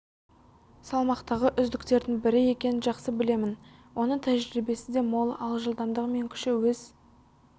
салмақтағы үздіктердің бірі екенін жақсы білемін оның тәжірибесі де мол ал жылдамдығы мен күші өз